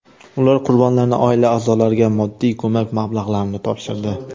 Ular qurbonlarning oila a’zolariga moddiy ko‘mak mablag‘larini topshirdi.